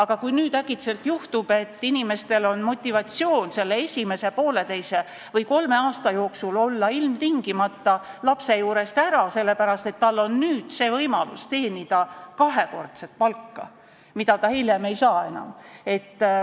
Kuid kui nüüd äkitselt juhtub, et inimestel on motivatsioon selle esimese poolteise või kolme aasta jooksul olla ilmtingimata lapse juurest ära, sest nüüd on võimalus teenida kahekordset palka, mida hiljem enam ei saa?